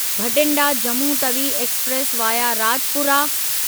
Bathinda Jammu Tawi express via Rajpura